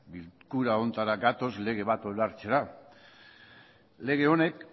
bilkura honetara gatoz lege bat onartzera lege honek